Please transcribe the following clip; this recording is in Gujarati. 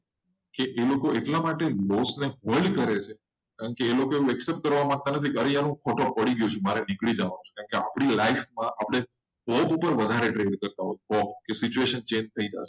કે એ લોકો એટલા માટે loss ને fold કરે છે કારણ કે એ લોકો accept કરવા માંગતા નથી ફોટો પડી ગયો છે. આ આપડી life માં અપડે ફોગ ઉપર વધારે train કરતાં હોઈએ ફોગ situation change થઈ જાય.